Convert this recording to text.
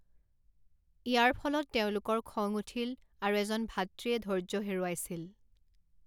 ইয়াৰ ফলত তেওঁলোকৰ খং উঠিল আৰু এজন ভাতৃয়ে ধৈৰ্য্য হেৰুৱাইছিল।